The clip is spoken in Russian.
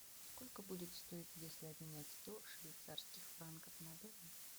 сколько будет стоить если обменять сто швейцарских франков на доллары